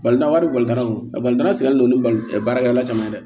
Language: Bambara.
wari sigilen don ni barakɛla caman ye dɛ